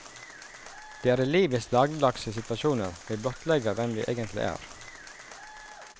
Det er i livets dagligdagse situasjoner vi blottlegger hvem vi egentlig er.